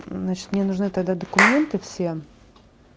значит мне нужны тогда документы все